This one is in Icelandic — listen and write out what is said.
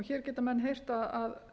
hér geta menn heyrt að